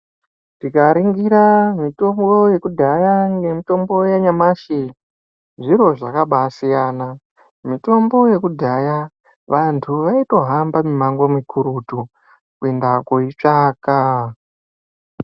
Tikaringira mitombo yekudhaya nemutombo yanyamashi zviro zvakaba siyana mitombo yekudhaya vantu vaito hamba mumango mukurutu kuenda kunotsvaka.